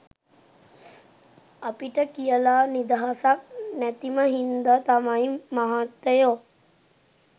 අපිට කියල නිදහසක් නැතිම හින්ද තමයි මහත්තයෝ